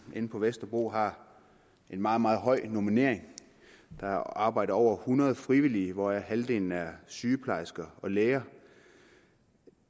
inde på vesterbro har en meget meget høj normering der arbejder over hundrede frivillige hvoraf halvdelen er sygeplejersker og læger